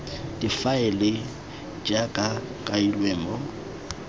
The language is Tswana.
difaele jaaka go kailwe mo